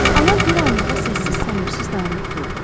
Ana bir anlığa səssiz-səmirsiz dayanıb durdu.